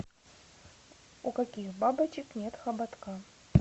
у каких бабочек нет хоботка